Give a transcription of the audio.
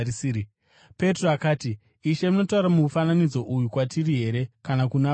Petro akati, “Ishe, munotaura mufananidzo uyu kwatiri here kana kuna vose?”